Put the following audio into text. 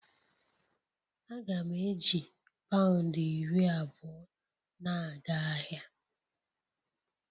Aga m eji pound iri abụọ na-aga ahịa